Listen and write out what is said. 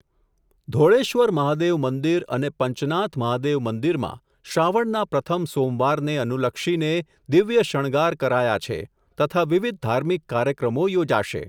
ધોળેશ્વર મહાદેવ મંદિર અને પંચનાથ મહાદેવ મંદિરમાં, શ્રાવણના પ્રથમ સોમવારને, અનુલક્ષીને દિવ્ય શણગાર કરાયા છે, તથા વિવિધ ધાર્મિક કાર્યક્રમો યોજાશે.